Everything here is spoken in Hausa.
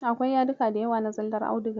Akwai yadika da yawa na zallar audiga.